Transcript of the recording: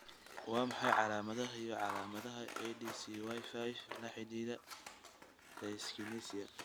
Waa maxay calaamadaha iyo calaamadaha ADCY5 la xidhiidha dyskinesia?